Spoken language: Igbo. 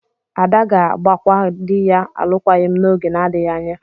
Ada ga-agbakwa di ya alụkwaghịm n'oge na-adịghị anya.